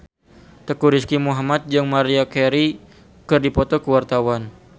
Teuku Rizky Muhammad jeung Maria Carey keur dipoto ku wartawan